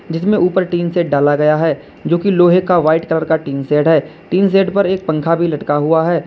जिसमें ऊपर tin shed डाला गया है जो की लोहे का वाइट कलर का टीन शेड है। टीन शेड पर एक पंखा भी लटका हुआ है।